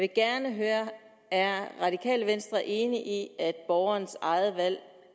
gerne høre er radikale venstre enig i at borgerens eget valg